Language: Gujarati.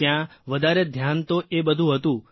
ત્યાં વધારે ધ્યાન તો એ બધું હતું